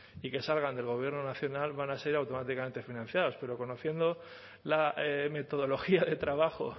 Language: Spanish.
y que salgan del gobierno nacional van a ser automáticamente financiados pero conociendo la metodología de trabajo